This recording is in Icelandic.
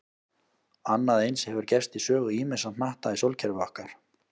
Annað eins hefur gerst í sögu ýmissa hnatta í sólkerfi okkar.